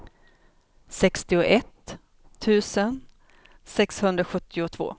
sextioett tusen sexhundrasjuttiotvå